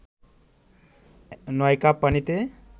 ৯ cup পানিতে